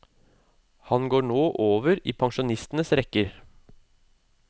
Han går nå over i pensjonistenes rekker.